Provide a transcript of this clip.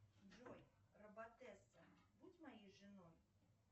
джой роботесса будь моей женой